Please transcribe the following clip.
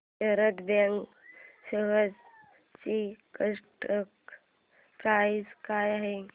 Sharda bank shares ची current price काय आहे